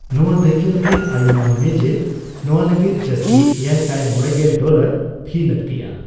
ᱱᱱᱣᱟ ᱫᱟᱹᱭᱠᱟᱹ ᱞᱟᱹᱜᱤᱫ, ᱟᱭᱩᱢᱟᱹᱱ ᱢᱮ ᱡᱮ ᱱᱚᱣᱟ ᱞᱟᱹᱜᱤᱫ ᱡᱟᱹᱥᱛᱤ ᱮᱭᱟᱭᱥᱟᱭ ᱢᱚᱲᱮᱜᱮᱞ ᱰᱚᱞᱟᱨ ᱯᱷᱤ ᱞᱟᱹᱠᱛᱤᱜᱼᱟ ᱾